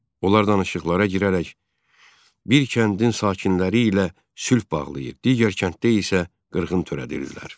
Onlar danışıqlara girərək bir kəndin sakinləri ilə sülh bağlayır, digər kənddə isə qırğın törədirdilər.